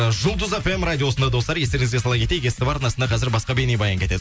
ы жұлдыз фм радиосында достар естеріңізге сала кетейік ств арнасында қазір басқа бейнебаян кетеді